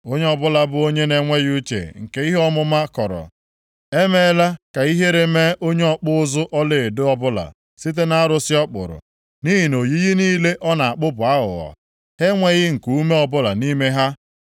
“Onye ọbụla bụ onye na-enweghị uche nke ihe ọmụma kọrọ. Emeela ka ihere mee onye ọkpụ ụzụ ọlaedo ọbụla site nʼarụsị ọ kpụrụ. Nʼihi na oyiyi niile ọ na-akpụ bụ aghụghọ; ha enweghị nkuume ọbụla nʼime ha.